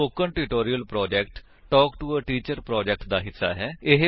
spoken tutorial project talk to a teacher project ਦਾ ਹਿੱਸਾ ਹੈ